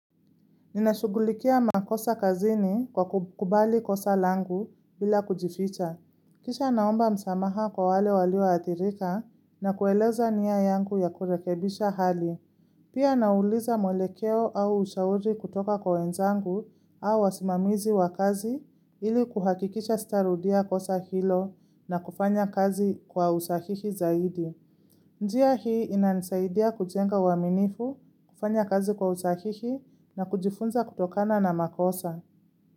Ninashugulikia makosa kazini kwa kukubali kosa langu bila kujificha. Kisha naomba msamaha kwa wale walioadhirika na kueleza nia yangu ya kurekebisha hali. Pia nauliza mwelekeo au ushauri kutoka kwa wenzangu au wasimamizi wa kazi ili kuhakikisha sitarudia kosa hilo na kufanya kazi kwa usahihi zaidi. Njia hii inanisaidia kujenga uaminifu, kufanya kazi kwa usahihi na kujifunza kutokana na makosa.